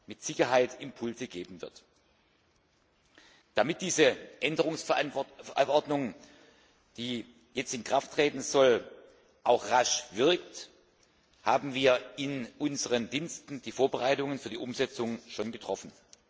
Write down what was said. mit Sicherheit Impulse geben wird. Damit diese Änderungsverordnung, die jetzt in Kraft treten soll, auch rasch wirkt, haben wir in unseren Diensten die Vorbereitungen für die Umsetzung schon getroffen.